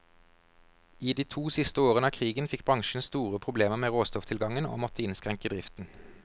I de to siste årene av krigen fikk bransjen store problemer med råstofftilgangen, og måtte innskrenke driften.